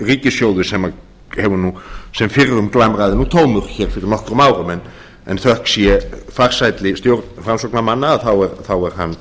ríkissjóður sem fyrrum glamraði nú tómur hér fyrir nokkrum árum en þökk sé farsælli stjórn framsóknarmann þá er hann